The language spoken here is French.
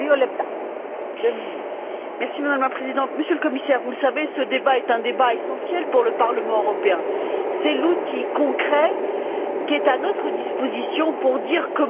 Madame la Présidente, Monsieur le Commissaire, vous le savez ce débat est un débat essentiel pour le Parlement européen. C'est l'outil concret qui est à notre disposition pour dire comment il faut mettre en œuvre la stratégie